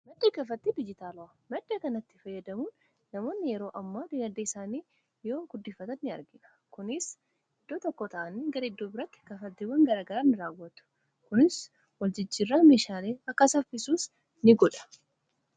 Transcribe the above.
maddi kafattii dijitaalaa madda kanatti fayyadamuun namoonni yeroo ammoo dinaddee isaanii yoo guddifatan ini argia kunis iddoo tokko ta'ani gariddoo biratti kafatiiwwan garagaraain raawwatu kunis waljijjirraa mishaalei akka saffisuus ini godha